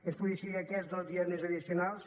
es puguin decidir aquests dos dies més addicionals